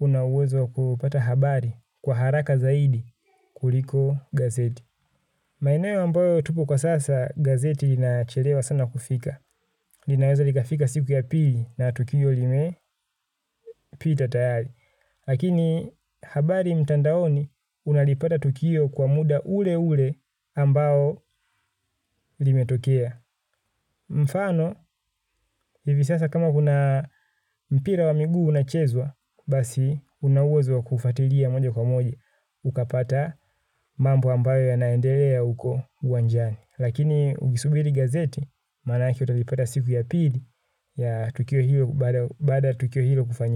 una uwezo wa kupata habari kwa haraka zaidi kuliko gazeti. Maeneo ambayo tuko kwa sasa gazeti linacherewa sana kufika. Linaweza likafika siku ya pili na tukio limepita tayari. Lakini habari mtandaoni unalipata tukio kwa muda ule ule ambao limetokea. Mfano hivi sasa kama kuna mpira wa miguu unachezwa, basi una uwezo wa kuufuatilia moja kwa moja. Ukapata mambo ambayo yanaendelea huko uwanjani. Lakini ukisubiri gazeti mara yake utalipata siku ya pili ya tukio hilo baada ya tukio hilo kufanya.